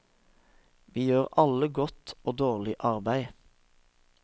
Vi gjør alle godt og dårlig arbeid.